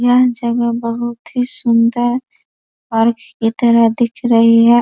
यह जगह बहोत ही सुंदर औरत की तरह दिख रही है।